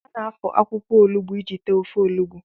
A na-afọ akwụkwọ olugbo iji tee ofe olugbo